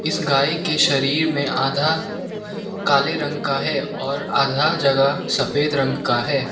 इस गाय के शरीर में आधा काले रंग का है और आधा जगह सफेद रंग का है।